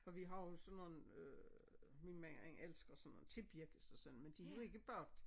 For vi har jo sådan nogen øh min mand han elsker sådan nogle tebirkes og sådan men de jo ikke bagt